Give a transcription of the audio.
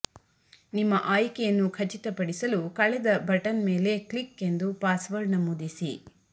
ನಿಮ್ಮ ಆಯ್ಕೆಯನ್ನು ಖಚಿತಪಡಿಸಲು ಕಳೆದ ಬಟನ್ ಮೇಲೆ ಕ್ಲಿಕ್ ಎಂದು ಪಾಸ್ವರ್ಡ್ ನಮೂದಿಸಿ